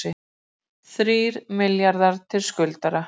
Þrír milljarðar til skuldara